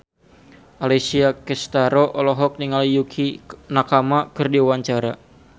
Alessia Cestaro olohok ningali Yukie Nakama keur diwawancara